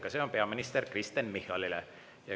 Ka see on peaminister Kristen Michalile.